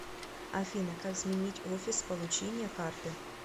афина как сменить офис получения карты